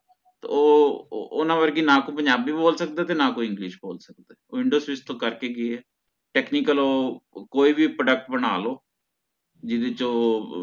ਓ ਅਹ ਓਹਨਾਂ ਵਰਗੀ ਨਾ ਕੋਈ ਪੰਜਾਬੀ ਬੋਲ ਸਕਦਾ ਤੇ ਨਾ ਕੋਈ english ਬੋਲ ਸਕਦਾ ਵਿੰਦੋਸਵੀਚ ਤੋਂ ਕੇ ਕੇ ਗਏ technical ਓਹ ਕੋਈ ਵੀ product ਬਣਾ ਲੋ ਜਿਹੜੇ ਚ ਓਹ